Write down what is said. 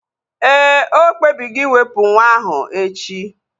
Éè, okpebigo iwepu nwa ahu echi